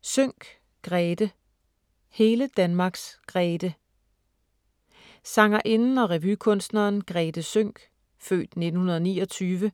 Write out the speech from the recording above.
Sønck, Grethe: Hele Danmarks Grethe Sangerinden og revykunstneren Grethe Sønck (f. 1929)